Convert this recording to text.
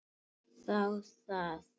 Þá það!